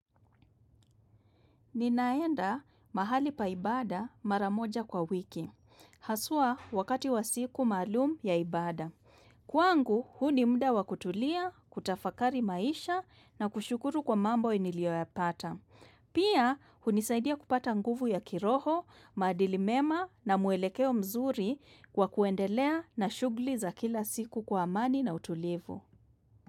Ninaenda mahali paibada maramoja kwa wiki. Haswa wakati wa siku maalum ya ibada. Kwangu huu ni muda wa kutulia, kutafakari maisha na kushukuru kwa mambo niliyoyapata. Pia hunisaidia kupata nguvu ya kiroho, maadili mema na mwelekeo mzuri kwa kuendelea na shughuli za kila siku kwa amani na utulivu.